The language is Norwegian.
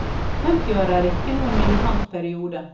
Femtiåra er ikke noen militant periode.